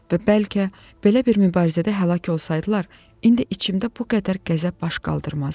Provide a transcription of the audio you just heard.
və bəlkə belə bir mübarizədə həlak olsaydılar, indi içimdə bu qədər qəzəb baş qaldırmazdı.